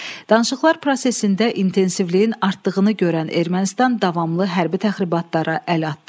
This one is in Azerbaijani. Danışıqlar prosesində intensivliyin artdığını görən Ermənistan davamlı hərbi təxribatlara əl atdı.